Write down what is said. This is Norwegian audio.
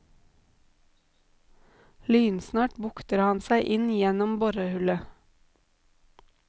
Lynsnart bukter han seg inn gjennom borehullet.